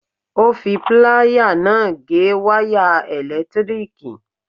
Ó fi pláyà náà gé wáyà ẹ̀lẹ̀tíríkì.